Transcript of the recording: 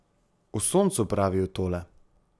O Soncu pravijo tole.